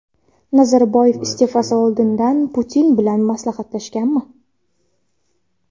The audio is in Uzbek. Nazarboyev iste’fosi oldidan Putin bilan maslahatlashganmi?